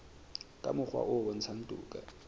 ka mokgwa o bontshang toka